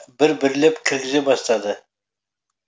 бір бірлеп кіргізе бастады